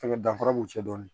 Fɛnkɛ danfara b'u cɛ dɔn